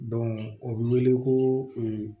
o bɛ wele ko